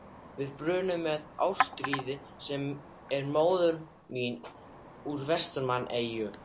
Við brunninn með Ástríði sem er móðir mín úr Vestmannaeyjum.